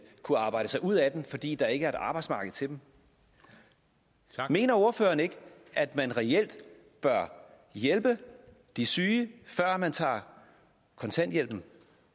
kunne arbejde sig ud af den fordi der ikke er et arbejdsmarked til dem mener ordføreren ikke at man reelt bør hjælpe de syge før man tager kontanthjælpen